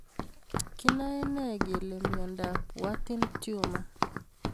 Kinae nee kole miondop Warthin tumor